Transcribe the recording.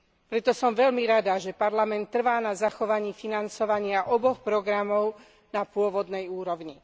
Preto som veľmi rada, že Parlament trvá na zachovaní financovania oboch programov na pôvodnej úrovni.